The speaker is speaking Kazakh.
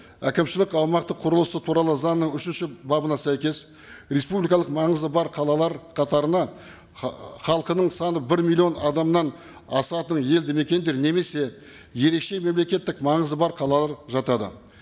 әкімшілік аумақтық құрылысы туралы заңның үшінші бабына сәйкес республикалық маңызы бар қалалар қатарына халқының саны бір миллион адамнан асатын елді мекендер немесе ерекше мемлекеттік маңызы бар қалалар жатады